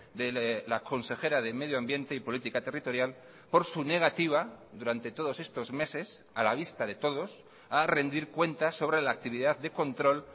de la consejera de medio ambiente y política territorial por su negativa durante todos estos meses a la vista de todos a rendir cuentas sobre la actividad de control